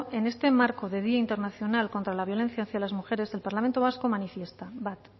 en el este marco de día internacional contra la violencia hacia las mujeres el parlamento vasco manifiesta bat